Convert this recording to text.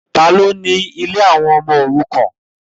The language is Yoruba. Ta ni ó ni ilé àwọn ọmọ òrukàn?